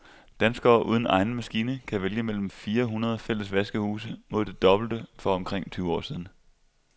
Danskere uden egen maskine kan vælge mellem fire hundrede fælles vaskehuse mod det dobbelte for omkring tyve år siden.